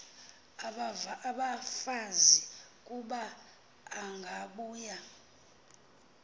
abafazi kuba angabuya